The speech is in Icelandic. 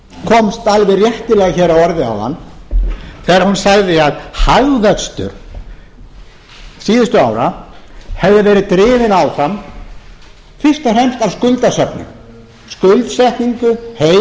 komst alveg réttilega að orði hér áðan þegar hún sagði að hagvöxtur síðustu ára hefði verið drifinn áfram fyrst og fremst af skuldasöfnun skuldsetningu heimila